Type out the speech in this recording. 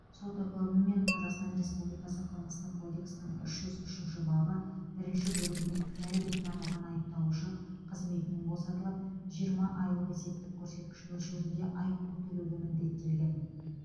сот үкімімен қазақстан республикасы қылмыстық кодексінің үш жүз үшінші бабы бірінші бөлігімен кінәлі деп танылған айыпталушы қызметінен босатылып жиырма айлық есептік көрсеткіш мөлшерінде айыппұл төлеуге міндеттелген